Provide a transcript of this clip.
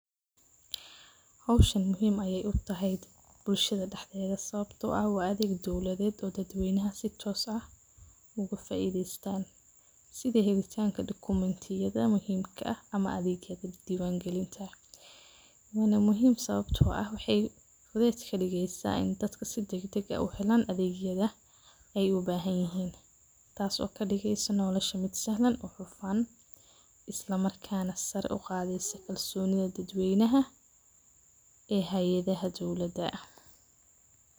Howshan muhhim ayey utahay bulshada dhexdeda sawqbto ah wa adheeg dowladed oo bulshada sii toos ah ugafaidestan sida helitanka adhegyada muhiimka ah wana muhiim sawabto ah sidey uhelan adhegyada ayey ubahanyihin taso kadigeyso nolosha mid hufaan ismarkana sare uqadeysa kalsonida dad weynaha ee hayada dowlada.